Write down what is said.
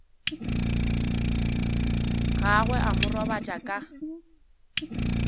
gagwe a mo robatša ka